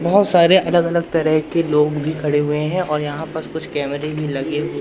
बहुत सारे अलग अलग तरह के लोग भी खड़े हुए हैं और यहां पर कुछ कैमरे भी लगे हुए--